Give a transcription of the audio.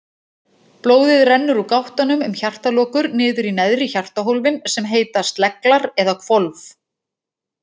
Blóðið rennur úr gáttunum um hjartalokur niður í neðri hjartahólfin sem heita sleglar eða hvolf.